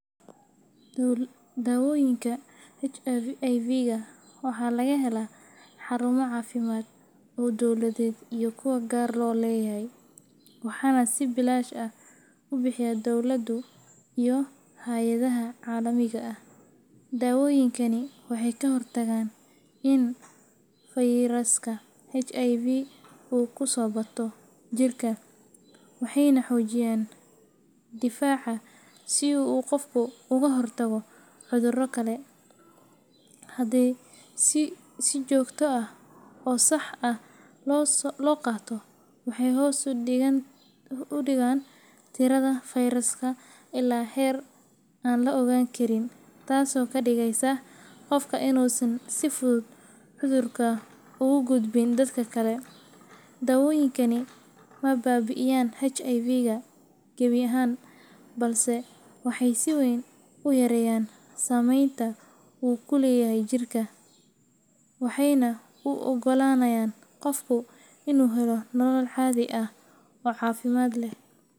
Daawooyinka HIV-ga waxaa laga helaa xarumo caafimaad oo dowladeed iyo kuwo gaar loo leeyahay, waxaana si bilaash ah u bixiya dowladdu iyo hay’adaha caalamiga ah. Daawooyinkani waxay ka hortagaan in fayraska HIV uu ku bato jirka, waxayna xoojiyaan difaaca si uu qofku uga hortago cudurro kale. Haddii si joogto ah oo sax ah loo qaato, waxay hoos u dhigaan tirada fayraska ilaa heer aan la ogaan karin, taasoo ka dhigaysa qofka inuusan si fudud cudurka ugu gudbin dadka kale. Daawooyinkani ma baabi’iyaan HIV-ga gebi ahaan, balse waxay si weyn u yareeyaan saameynta uu ku leeyahay jirka, waxayna u oggolaanayaan qofka inuu helo nolol caadi ah oo caafimaad leh.